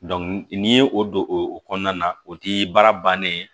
n'i ye o don o kɔnɔna na o ti baara bannen ye